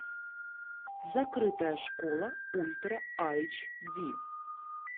закрытая школа ультра айч ди